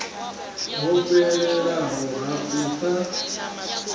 ho fhelelaho ha u sa